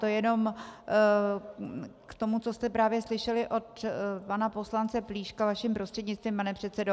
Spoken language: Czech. To jen k tomu, co jste právě slyšeli od pana poslance Plíška, vaším prostřednictvím, pane předsedo.